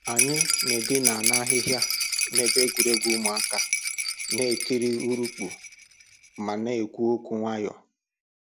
Anyị na-edina na ahịhịa n'ebe egwuregwu ụmụaka, na-ekiri urukpu ma na-ekwu okwu nwayọ.